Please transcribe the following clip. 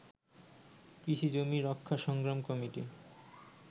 কৃষিজমি রক্ষা সংগ্রাম কমিটি